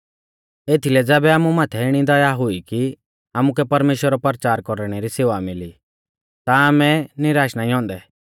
एथीलै ज़ैबै आमु माथै इणी दया हुई कि आमुकै परमेश्‍वरा रौ परचार कौरणै री सेवा मिली ता आमै निराश नाईं औन्दै